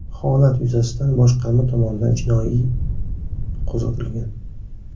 Holat yuzasidan boshqarma tomonidan jinoiy qo‘zg‘atilgan.